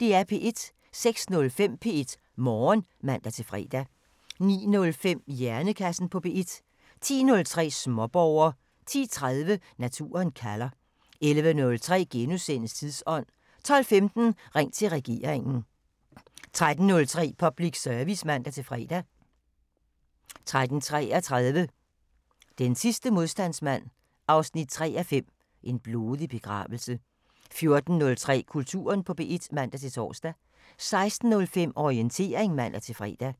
06:05: P1 Morgen (man-fre) 09:05: Hjernekassen på P1 10:03: Småborger 10:30: Naturen kalder 11:03: Tidsånd * 12:15: Ring til regeringen 13:03: Public Service (man-fre) 13:33: Den sidste modstandsmand 3:5 – En blodig begravelse 14:03: Kulturen på P1 (man-tor) 16:05: Orientering (man-fre)